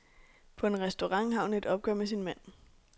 På en restaurant har hun et opgør med sin mand.